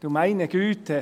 Du meine Güte: